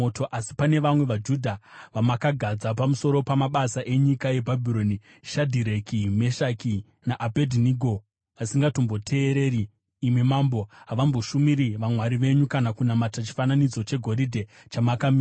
Asi pane vamwe vaJudha vamakagadza pamusoro pamabasa enyika yeBhabhironi, Shadhireki, Meshaki naAbhedhinego, vasingatomboteereri imi mambo. Havamboshumiri vamwari venyu kana kunamata chifananidzo chegoridhe chamakamisa.”